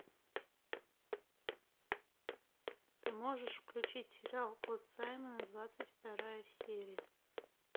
ты можешь включить сериал кот саймона двадцать вторая серия